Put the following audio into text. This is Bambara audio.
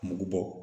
Mugu bɔ